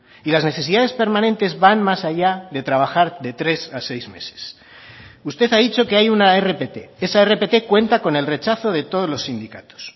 y las necesidades permanentes van más allá de trabajar de tres a seis meses usted ha dicho que hay una rpt esa rpt cuenta con el rechazo de todos los sindicatos